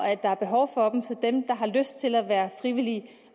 at der er behov for dem så dem der har lyst til at være frivillige